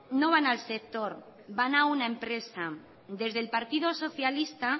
no van al sector van a una empresa desde el partido socialista